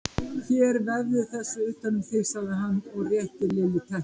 Hérna vefðu þessu utan um þig sagði hann og rétti Lillu teppi.